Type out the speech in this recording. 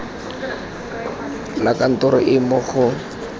la kantoro e mo go